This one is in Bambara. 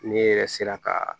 Ne yɛrɛ sera ka